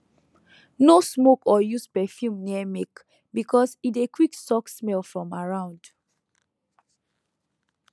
no smoke or use perfume near milk because e dey quick suck smell from around